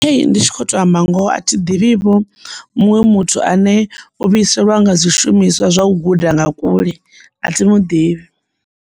Ndi tshi kho to amba ngoho a thi ḓivhi vho muṅwe muthu ane u vhuisela nga zwishumiswa zwa u guda nga kule a thimu ḓivhi.